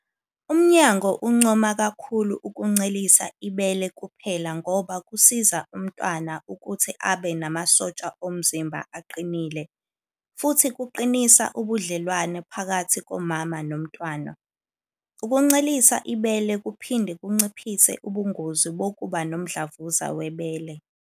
Umnyango uncoma kakhulu ukuncelisa ibele kuphela ngoba kusiza umntwana ukuthi abe namasotsha omzimba aqinile, futhi kuqinisa ubudlelwano phakathi komama nomntwana. Ukuncelisa ibele kuphinde kunciphise ubungozi bokuba nomdlavuza webele.